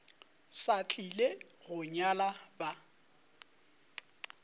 sa tlile go nyala ba